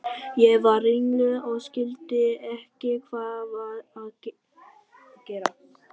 Ég varð ringluð og skildi ekki hvað var að gerast.